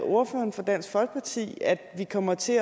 ordføreren for dansk folkeparti at vi kommer til